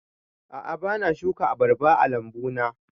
A'a bana shuka abarba a lambu na